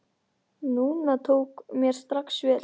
Nunna tók mér strax vel.